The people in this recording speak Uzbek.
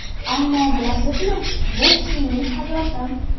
Ammo, bilasizmi, boks mening hayotim.